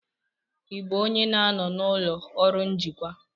Ị bụ onye na-anọ n'ụlọ ọrụ njikwa?